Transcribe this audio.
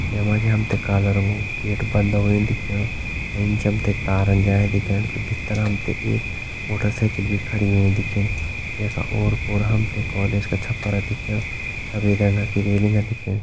जै मा जी हमते काला रंगु गेट बंद होय दिख्येणु एंच हम तें तारन जायां दिखेण त भितर हम तें एक मोटरसाइकिल भी खड़ी हुईं दिखेणी जैका ओर-पोर हम तें कोलेज कु छप्पर दिखेणु सफ़ेद रंगा कि रेलिंग दिखेणी।